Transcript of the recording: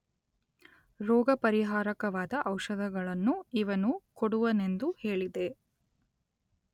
ರೋಗ ಪರಿಹಾರಕವಾದ ಔಷಧಗಳನ್ನು ಇವನು ಕೊಡುವನೆಂದು ಹೇಳಿದೆ.